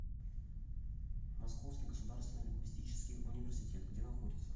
московский государственный лингвистический университет где находится